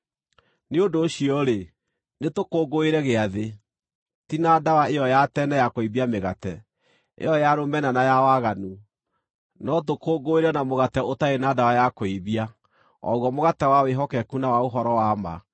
Nĩ ũndũ ũcio-rĩ, nĩtũkũngũĩre Gĩathĩ, ti na ndawa ĩyo ya tene ya kũimbia mĩgate, ĩyo ya rũmena na ya waganu, no tũkũngũĩre na mũgate ũtarĩ na ndawa ya kũimbia, o guo mũgate wa wĩhokeku na wa ũhoro wa ma.